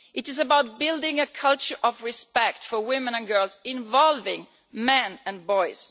It is about building a culture of respect for women and girls involving men and boys.